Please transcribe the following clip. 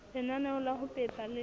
lenaneo la ho pepa le